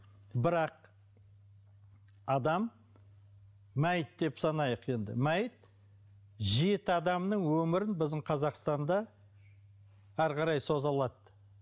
бірақ адам мәйіт деп санайық енді мәйіт жеті адамның өмірін біздің қазақстанда әрі қарай соза алады